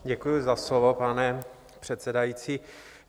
Děkuji za slovo, pane předsedající.